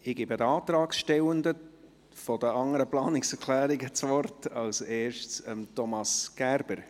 Ich gebe den Antragstellenden für die anderen Planungserklärungen das Wort, zuerst Thomas Gerber.